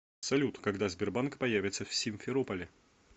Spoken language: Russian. салют когда сбербанк появится в симферополе